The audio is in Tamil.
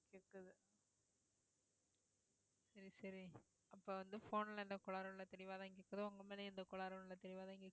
சரி சரி அப்ப வந்து phone ல எந்த கோளாறும் இல்லை தெளிவாதான் கேக்குது உங்க மேலயும் எந்த கோளாறும் இல்லை தெளிவாதான் கேக்குது